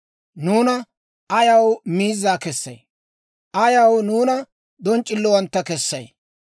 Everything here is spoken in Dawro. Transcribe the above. Nuuna ayaw miizza kessay? Ayaw nuuna donc'c'illowantta kessay?